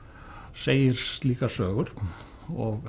segir slíkar sögur